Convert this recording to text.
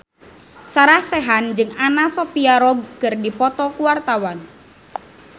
Sarah Sechan jeung Anna Sophia Robb keur dipoto ku wartawan